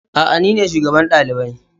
Eh, nine shugaban dalibai.